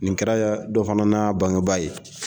Nin kɛra dɔ fana na bangeba ye.